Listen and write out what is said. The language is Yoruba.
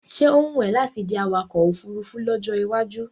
Ṣé ó wùn é láti di awakọ̀ ofurufú lọ́jọ́ iwájú?